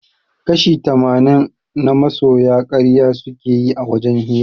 Kashi tamanin na masoya karya suke yi a wajen hira